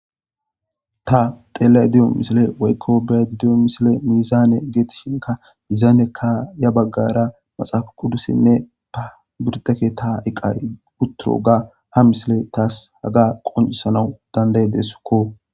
ta tela7y diyo misile waykko bead diyo misile mizaane geetishinka mizaanekka ya baggara maxaafa kuddusinne pabirdeke ta iqay utturo ga ha misile taas haga qoncisanawu dandaye deesskko